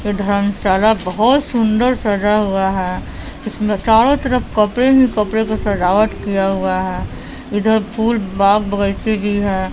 ये धर्मशाला बहोत सुंदर सजा हुआ है इसमें चारों तरफ कपड़े ही कपड़े के सजावट किया हुआ है इधर फूल बैग बगैचे भी है।